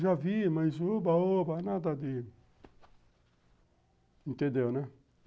Já vi, mas uba, oba, nada de... Entendeu, né?